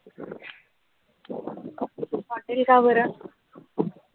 hotel का बरं?